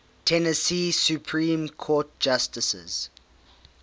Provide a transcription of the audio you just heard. tennessee supreme court justices